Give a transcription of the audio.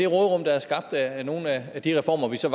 råderum der er skabt af nogle af de reformer vi så